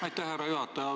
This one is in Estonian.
Aitäh, härra juhataja!